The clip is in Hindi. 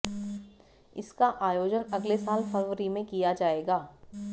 इसका आयोजन अगले साल फरवरी में किया जाएगा